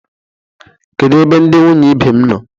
Kedu ebe ndi nwunye ibe m nọ?